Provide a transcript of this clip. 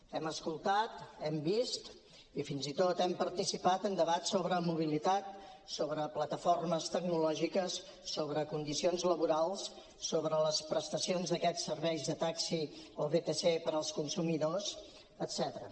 hem escoltat hem vist i fins i tot hem participat en debats sobre mobilitat sobre plataformes tecnològiques sobre condicions laborals sobre les prestacions d’aquests serveis de taxi o vtc per als consumidors etcètera